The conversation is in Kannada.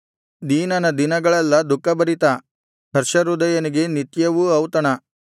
ದೀನನ ದಿನಗಳೆಲ್ಲಾ ದುಃಖಭರಿತ ಹರ್ಷಹೃದಯನಿಗೆ ನಿತ್ಯವೂ ಔತಣ